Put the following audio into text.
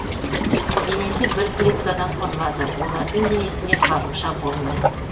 денесі бір клеткадан құрылады олардың денесінде қабықша болмайды